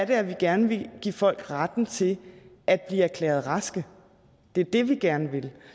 at vi gerne vil give folk retten til at blive erklæret raske det er det vi gerne vil